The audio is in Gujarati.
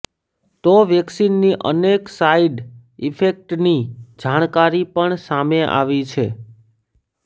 તો વેક્સિનની અનેક સાઇડ ઇફેક્ટ્સની જાણકારી પણ સામે આવી છે